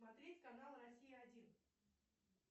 смотреть канал россия один